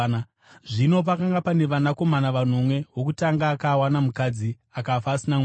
Zvino pakanga pane vanakomana vanomwe. Wokutanga akawana mukadzi, akafa asina mwana.